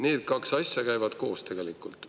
Need kaks asja käivad koos tegelikult.